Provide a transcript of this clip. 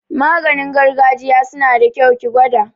Maganin gargajiya suna da kyau, ki gwada